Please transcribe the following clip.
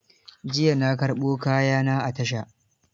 Jiya na karɓo kaya na a tasha.